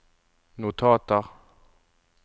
notater